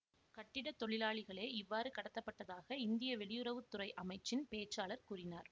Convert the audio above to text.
கட்டிட தொழிலாளிகளே இவ்வாறு கடத்தப்பட்டதாக இந்திய வெளியுறவு துறை அமைச்சின் பேச்சாளர் கூறினார்